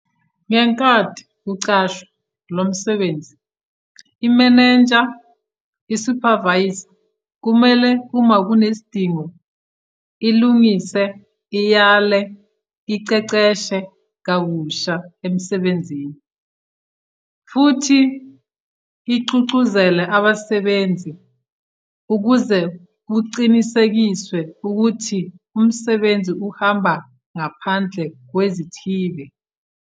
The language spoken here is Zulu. Ngenkathi kuqhutshwa lo msebenzi, imenenja - isuphavayiza kumele uma kunesidingo, ilungise, iyale, iqeqeshe kabusha emsebenzini, futhi igqugquzele abasebenzi ukuze kuqinisekiswe ukuthi umsebenzi uhamba ngaphandle kwezihibe.